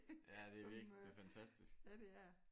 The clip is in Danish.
Ja det er virkelig det er fantastisk